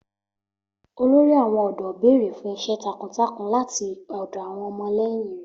Olórí àwọn ọ̀dọ́ béèrè fún iṣẹ́ takuntakun láti ọ̀dọ̀ àwọn ọmọlẹ́yìn rẹ̀.